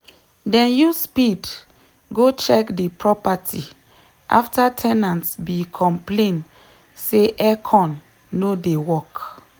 dem use speed go check de property after ten ant be complain say aircon no dey work.